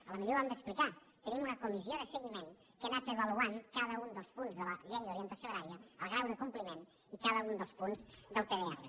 potser ho hem d’explicar tenim una comissió de seguiment que ha anat avaluant cada un dels punts de la llei d’orientació agrària el grau de compliment i cada un dels punts del pdr